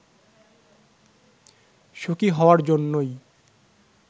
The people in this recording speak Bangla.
সুখি হওয়ার জন্যই